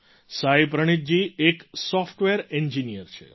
સાઈ પ્રનીથજી એક software engineer છે